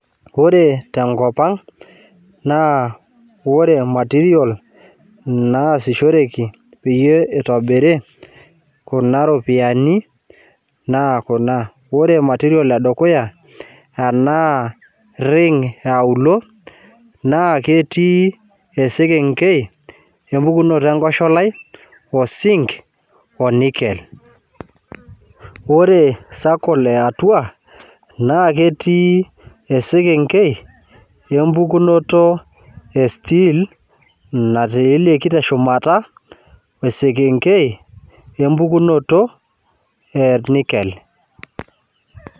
Ore tenkop ang, naa ore material naasishoreki peyie itobiri kuna ropiyiani, naa kuna. Ore material edukuya, ena ring eauluo, naa ketii esekenkei empukunoto enkosholai, osink o nickel. Ore circle eatua, naa ketii esekenkei empukunoto e steel, natiileki teshumata, esekenkei empukunoto e nickel.